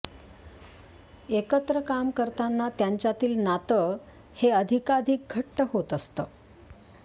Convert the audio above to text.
एकत्र काम करताना त्यांच्यातील नातं हे अधिकाधिक घट्ट होत असतं